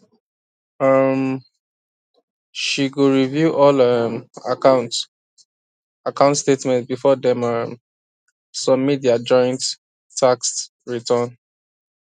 um she go review all um account account statements before dem um submit their joint tax return